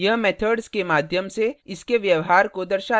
यह methods के माध्यम से इसके व्यवहार को दर्शाता है